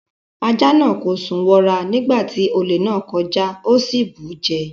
Ajá náà kò sùn wọra nígbà tí olè náà ń kọjá. Ó sì bù ú jẹ.